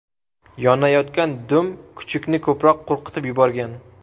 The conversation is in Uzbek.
Yonayotgan dum kuchukni ko‘proq qo‘rqitib yuborgan.